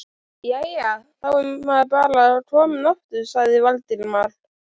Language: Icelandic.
Jæja, þá er maður bara kominn aftur sagði Valdimar.